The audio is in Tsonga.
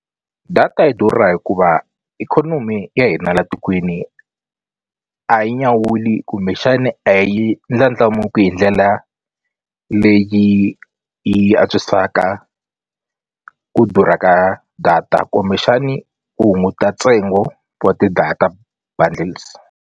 Data yi durha hikuva ikhonomi ya hina la tikweni a yi nyawuli kumbexani a yi ndlandlamuki hi ndlela leyi yi antswisaka ku durha ka data kumbexani u hunguta ntsengo wa ti-data bundles.